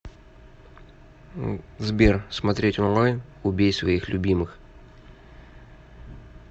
сбер смотреть онлайн убей своих любимых